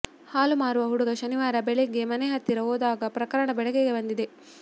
ಹಾಲು ಮಾರುವ ಹುಡುಗ ಶನಿವಾರ ಬೆಳಿಗ್ಗೆ ಮನೆ ಹತ್ತಿರ ಹೋದಾಗ ಪ್ರಕರಣ ಬೆಳಕಿಗೆ ಬಂದಿದೆ